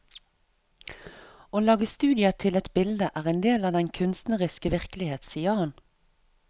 Å lage studier til et bilde er del av den kunstneriske virkelighet, sier han.